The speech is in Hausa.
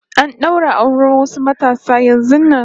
Ana ɗaura auren wasu matasa yanzun nan